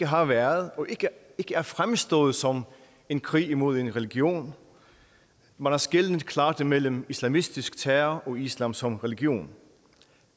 har været og ikke er fremstået som en krig mod en religion man har skelnet klart mellem islamistisk terror og islam som religion